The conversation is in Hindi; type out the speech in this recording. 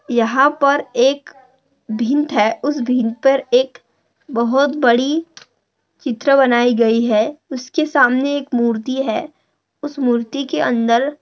यहाँ पर एक भिंत है उस भिंत पर एक बहुत बड़ी चित्र बनाई गयी है उसके सामने एक मूर्ति है उस मूर्ति के अंदर--